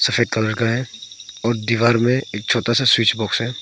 सफेद कलर का है और दीवार में एक छोटा सा स्विच बॉक्स है।